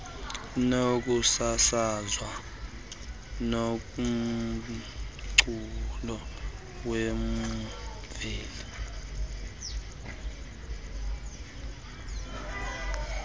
nokusasazwa komculo wemveli